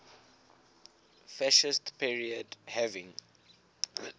fascist period having